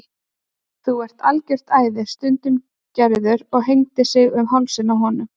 Þú ert algjört æði stundi Gerður og hengdi sig um hálsinn á honum.